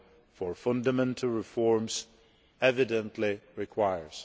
for fundamental reforms evidently requires.